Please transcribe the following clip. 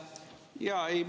Aitäh!